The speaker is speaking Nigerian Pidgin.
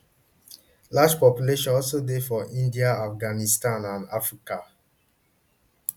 large populations also dey for india afghanistan and africa